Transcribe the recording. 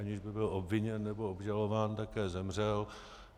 Aniž by byl obviněn nebo obžalován, také zemřel.